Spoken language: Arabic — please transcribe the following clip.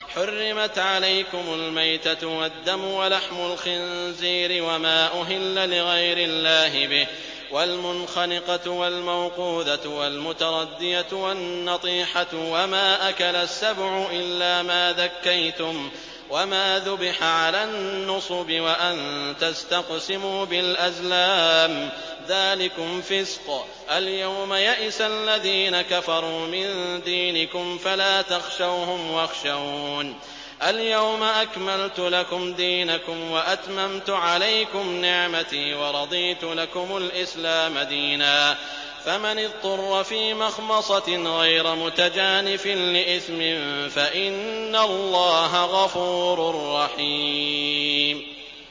حُرِّمَتْ عَلَيْكُمُ الْمَيْتَةُ وَالدَّمُ وَلَحْمُ الْخِنزِيرِ وَمَا أُهِلَّ لِغَيْرِ اللَّهِ بِهِ وَالْمُنْخَنِقَةُ وَالْمَوْقُوذَةُ وَالْمُتَرَدِّيَةُ وَالنَّطِيحَةُ وَمَا أَكَلَ السَّبُعُ إِلَّا مَا ذَكَّيْتُمْ وَمَا ذُبِحَ عَلَى النُّصُبِ وَأَن تَسْتَقْسِمُوا بِالْأَزْلَامِ ۚ ذَٰلِكُمْ فِسْقٌ ۗ الْيَوْمَ يَئِسَ الَّذِينَ كَفَرُوا مِن دِينِكُمْ فَلَا تَخْشَوْهُمْ وَاخْشَوْنِ ۚ الْيَوْمَ أَكْمَلْتُ لَكُمْ دِينَكُمْ وَأَتْمَمْتُ عَلَيْكُمْ نِعْمَتِي وَرَضِيتُ لَكُمُ الْإِسْلَامَ دِينًا ۚ فَمَنِ اضْطُرَّ فِي مَخْمَصَةٍ غَيْرَ مُتَجَانِفٍ لِّإِثْمٍ ۙ فَإِنَّ اللَّهَ غَفُورٌ رَّحِيمٌ